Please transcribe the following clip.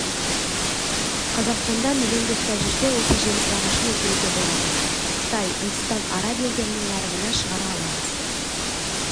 қазақстанда миллион гектар жерге осы жеміс ағашын өсіруге болады қытай үндістан араб елдерінің нарығына шығара аламыз